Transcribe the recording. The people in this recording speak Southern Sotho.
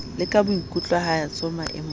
le ka boikutlwahatso maemong a